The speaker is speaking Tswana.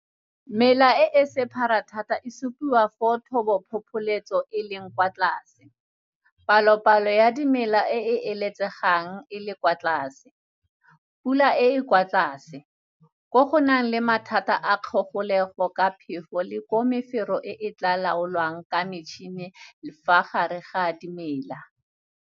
Mela e e sephara thata e supiwa foo thobophopholetso e leng kwa tlase, palopalo ya dimela e e eletsegang e le kwa tlase, pula e e kwa tlase, koo go nang le mathata a kgogolego ka phefo le koo mefero e e tla laolwang ka metšhine fa gare ga dimela.